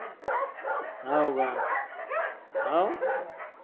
हाओका हाओ